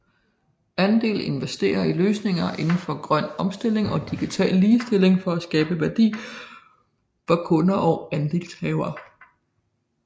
Andel investerer i løsninger indenfor grøn omstilling og digital ligestilling for at skabe værdi for kunder og andelshavere